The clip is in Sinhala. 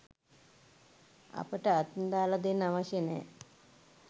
අපට අතින් දාල දෙන්න අවශ්‍ය නෑ.